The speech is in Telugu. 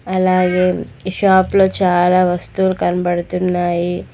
అలాగే షాప్లో చాలా వస్తువులు కనబడుతున్నాయి.